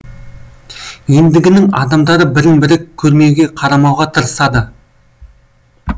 ендігінің адамдары бірін бірі көрмеуге қарамауға тырысады